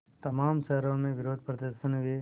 तमाम शहरों में विरोधप्रदर्शन हुए